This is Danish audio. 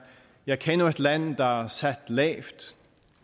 jeg kender et land der er sat lavt